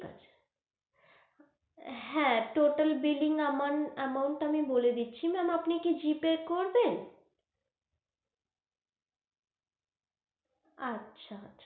হ্যাঁ, totalbilling amount amount তা আমি বলে দিচ্ছি আপনি কি G pay করবেন? আচ্ছা!